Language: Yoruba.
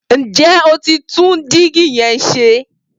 Ǹ jẹ́ o ti tún dígí yẹn se?